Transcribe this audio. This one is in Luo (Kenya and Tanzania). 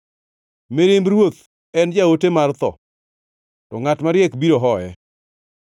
Mirimb ruoth en jaote mar tho, to ngʼat mariek biro hoye.